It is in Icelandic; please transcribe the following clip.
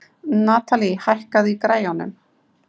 Natalie, hækkaðu í græjunum.